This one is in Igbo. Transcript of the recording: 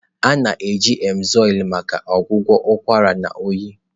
A na-eji Emzoyln maka ọgwụgwọ ụkwara na oyi.